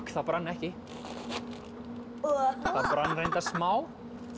það brann ekki það brann reyndar smá